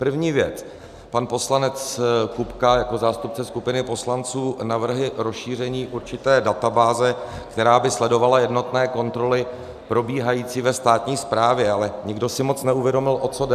První věc, pan poslanec Kupka jako zástupce skupiny poslanců navrhuje rozšíření určité databáze, která by sledovala jednotné kontroly probíhající ve státní správě, ale nikdo si moc neuvědomil, o co jde.